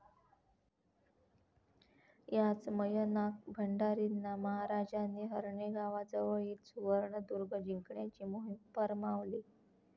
याच मयनाक भंडारींना महाराजांनी हर्णे गावाजवळील सुवर्णदुर्ग जिंकण्याची मोहिम फर्मावली.